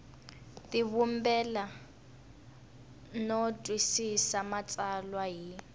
tivumbela no twisisa matsalwa hi